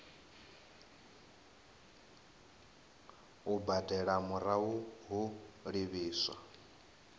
u badela murahu ho livhiswa